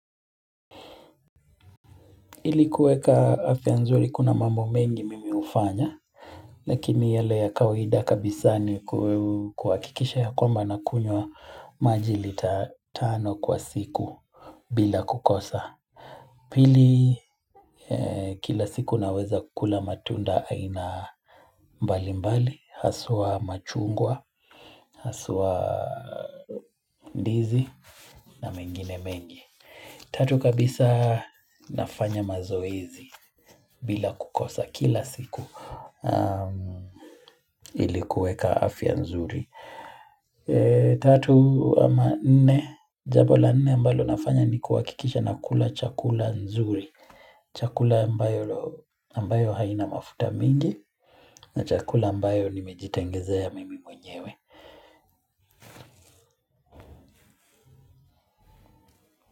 Ili kueka afya nzuri kuna mambo mengi mimi ufanya Lakini yale ya kawaida kabisa ni kuhakikisha ya kwamba na kunywa majili tatano kwa siku bila kukosa Pili kila siku naweza kukula matunda aina mbali mbali Haswaa machungwa, haswa ndizi na mengine mengi Tatu kabisa nafanya mazoezi bila kukosa kila siku ilikuweka afya nzuri. Tatu ama nne jambola nne ambalo nafanya ni kuhakikisha nakula chakula nzuri. Chakula ambayo haina mafuta mingi na chakula ambayo nimejitengeza ya mimi mwenyewe.